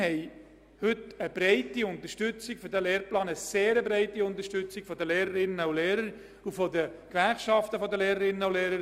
Heute wird dieser Lehrplan sehr breit unterstützt, sowohl von den Lehrpersonen wie auch von den Gewerkschaften der Lehrerinnen und Lehrer.